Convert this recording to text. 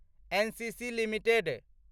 NCC limited